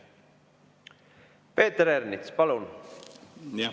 Peeter Ernits, palun!